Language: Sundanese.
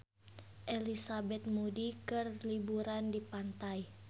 Elizabeth Moody keur liburan di pantai